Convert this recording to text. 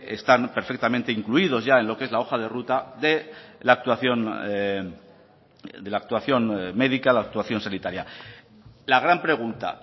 están perfectamente incluidos ya en lo que es la hoja de ruta de la actuación de la actuación médica la actuación sanitaria la gran pregunta